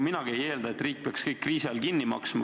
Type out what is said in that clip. Minagi ei eelda, et riik peaks kriisi ajal kõik kinni maksma.